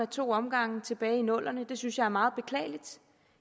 to omgange tilbage i nullerne det synes jeg er meget beklageligt